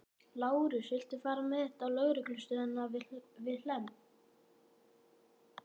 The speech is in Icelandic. Lárus, viltu fara með þetta á lögreglustöðina við Hlemm?